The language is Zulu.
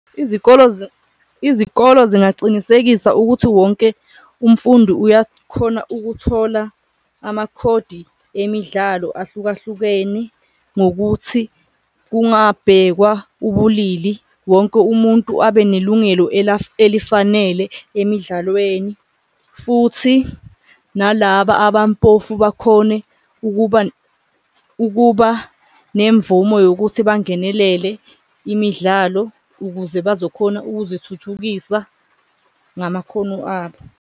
Izikolo izikolo zingacinisekisa ukuthi wonke umfundi uyakhona ukuthola amakhodi emidlalo ahlukahlukene ngokuthi kungabhekwa ubulili, wonke umuntu abe nelungelo elifanele emidlalweni. Futhi nalaba abampofu bakhone ukuba ukuba nemvumo yokuthi bangenelele imidlalo ukuze bazokhona ukuzithuthukisa ngamakhono abo.